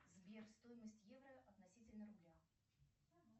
сбер стоимость евро относительно рубля